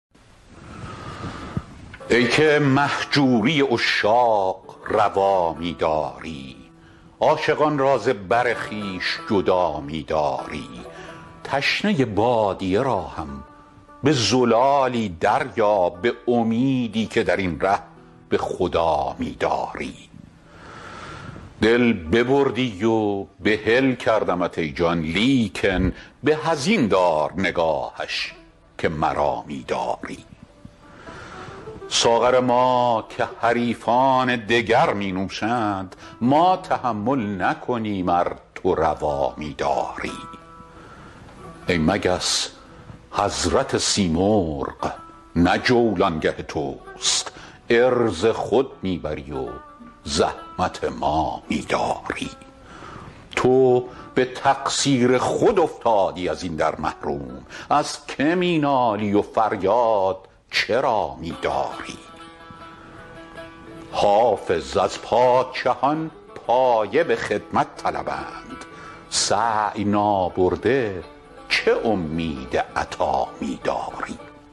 ای که مهجوری عشاق روا می داری عاشقان را ز بر خویش جدا می داری تشنه بادیه را هم به زلالی دریاب به امیدی که در این ره به خدا می داری دل ببردی و بحل کردمت ای جان لیکن به از این دار نگاهش که مرا می داری ساغر ما که حریفان دگر می نوشند ما تحمل نکنیم ار تو روا می داری ای مگس حضرت سیمرغ نه جولانگه توست عرض خود می بری و زحمت ما می داری تو به تقصیر خود افتادی از این در محروم از که می نالی و فریاد چرا می داری حافظ از پادشهان پایه به خدمت طلبند سعی نابرده چه امید عطا می داری